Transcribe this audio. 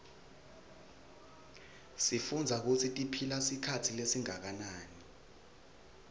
sifundza kutsi tiphila sikhatsi lesinganani